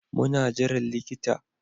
Muna jiran likita